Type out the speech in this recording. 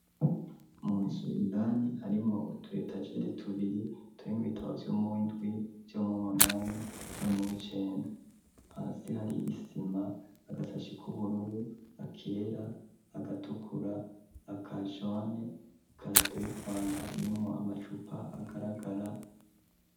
mu nzu indani harimwo utu etagere tubiri turimwo ibitabo vyo muwindwi vyo muwu munani no mu wicenda hasi hari isima agasashi k'ubururu akera agatukura aka jone ikarato y'ifana irimwo amacupa agaragara